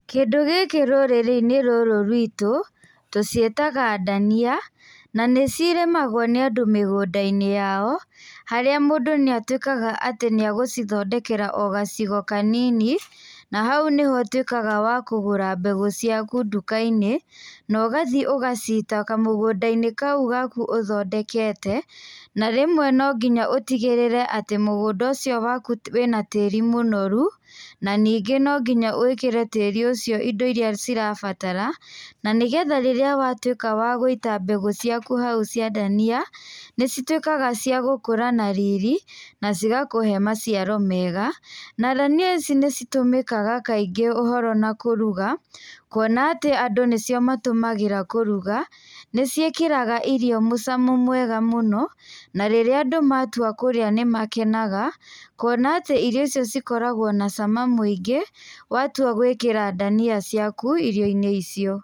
Kĩndũ gĩkĩ rũrĩrĩ-inĩ rũrũ rwitũ, tũciĩtaga ndania, na nĩ cirĩmagwo nĩ andũ mĩgũnda-gnĩ yao, harĩa mũndũ nĩ atuĩkaga wa gũcithondekera o gacigo kanini, na hau nĩho ũtuĩkaga wa kũgũra mbegũ ciaku nduka-inĩ, na ũgathi ũgacita kamũgũnda-inĩ kau gaku ũthondekete, na rĩmwe no nginya ũtigĩrĩre atĩ mũgũnda ũcio waku wĩna tĩri mũnoru na nyingĩ na nginya wĩkĩre tĩri ũcio indo iria cirabatara. Na nĩ getha rĩrĩa watuĩka wa gũita mbegũ ciaku hau cia ndania nĩ cituĩkaga cia gũkũra na riri na cigatuĩka ciagũkũhe maciaro mega. Na ndania ici nĩ citũmĩkaga kaingĩ ũhoro na kũruga kuona atĩ andũ nacio matũmagĩra kũruga nĩ ciĩkĩraga irio mũcamo mwega mũno na rĩrĩa andũ matua lũrĩa nĩ makenaga kuona atĩ irio icio cikoragwo na cama mũingĩ, watua gũĩkĩra ndania ciaku irio-inĩ icio.